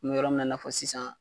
U bɛ yɔrɔ minna i n'a fɔ sisan